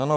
Ano.